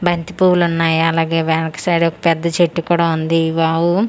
బంతి పువ్వులు వున్నాయ్ అలాగే వెనక సైడ్ ఓక పెద్ద చెట్టు కూడా వుంది ఈ వావు పువ్వులు--